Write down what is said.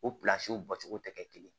O bɔcogo tɛ kɛ kelen ye